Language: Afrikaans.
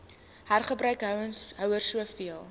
hergebruik houers soveel